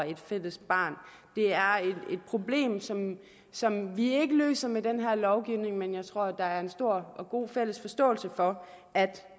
et fælles barn det er et problem som som vi ikke løser med den her lovgivning men jeg tror at der er en stor og god fælles forståelse for at